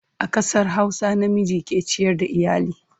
A ƙasar Hausa, namiji ke ciyar da iyali.